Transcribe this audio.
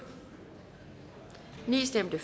for stemte